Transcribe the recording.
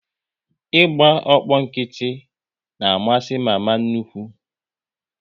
Ị gba ọkpọ nkịtị na amasị mama nnukwu